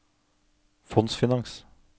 fondsfinans